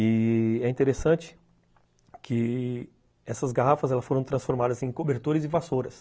E... é interessante que essas garrafas foram transformadas em cobertores e vassouras.